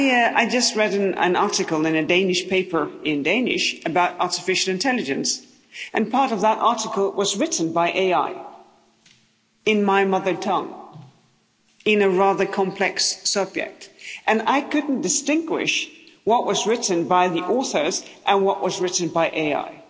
I just read an article in a Danish paper, in Danish, about artificial intelligence and part of that article was written by AI, in my mother tongue, on a rather complex subject, and I couldn't distinguish what was written by the authors and what was written by AI.